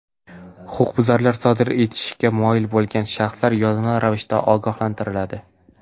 Huquqbuzarlik sodir etishga moyil bo‘lgan shaxslar yozma ravishda ogohlantiriladi.